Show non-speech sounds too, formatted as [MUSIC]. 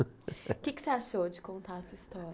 [LAUGHS] O que que você achou de contar a sua história?